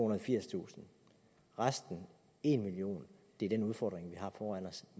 og firstusind resten en million er den udfordring vi har foran os